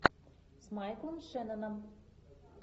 с майклом шенноном